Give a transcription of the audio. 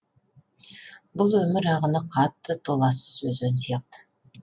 бұл өмір ағыны қатты толассыз өзен сияқты